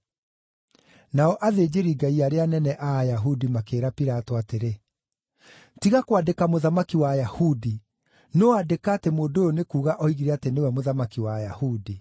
Nao athĩnjĩri-Ngai arĩa anene a Ayahudi makĩĩra Pilato atĩrĩ, “Tiga kwandĩka ‘Mũthamaki wa Ayahudi’, no andĩka atĩ mũndũ ũyũ nĩ kuuga oigire atĩ nĩwe mũthamaki wa Ayahudi.”